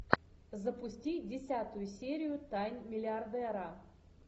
запусти десятую серию тайн миллиардера